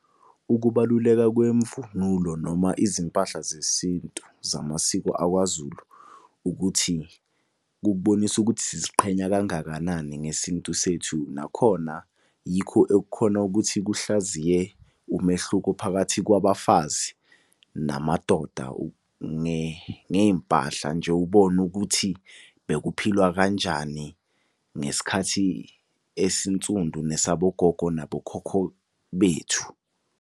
Ukubaluleka kwemvunulo noma izimpahla zesintu zamasiko akwaZulu ukuthi, kukubonisa ukuthi siziqhenya kangakanani ngesintu sethu. Nakhona yikho ekukhona ukuthi kuhlaziye umehluko phakathi kwabafazi namadoda ngey'mpahla nje, ubone ukuthi bekuphilwa kanjani ngesikhathi esinsundu, nesabo gogo nabo khokho bethu.